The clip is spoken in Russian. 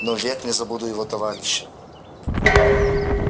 но век не забуду его товарища